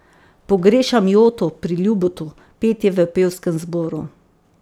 Pogrešam joto pri Ljubotu, petje v pevskem zboru ...